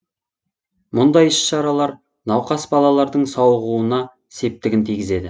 мұндай іс шаралар науқас балалардың сауығуына септігін тигізеді